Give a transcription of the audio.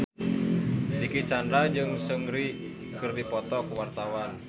Dicky Chandra jeung Seungri keur dipoto ku wartawan